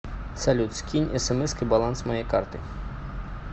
салют скинь смской баланс моей карты